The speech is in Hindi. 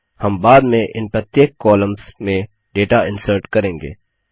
हम बाद में इन प्रत्येक कॉमल्स में डेटा इंसर्ट करेंगे